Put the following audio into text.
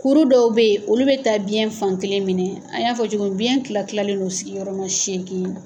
Kuru dɔw bɛ yen olu bɛ taa biɲɛ fan kelen minɛ, an y'a fɔ cogo min biɲɛ kila kilalen do sigiyɔrɔma seegin.